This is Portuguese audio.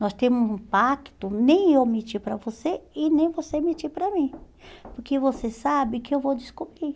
Nós temos um pacto, nem eu mentir para você e nem você mentir para mim, porque você sabe que eu vou descobrir.